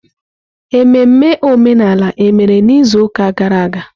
Ememme omenala emere n'izuụka gara aga?